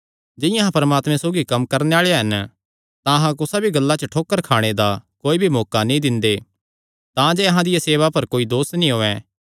जिंआं अहां परमात्मे सौगी कम्म करणे आल़े हन तां अहां कुसा भी गल्ला च ठोकर खाणे दा कोई भी मौका नीं दिंदे तांजे अहां दिया सेवा पर कोई दोस नीं औयें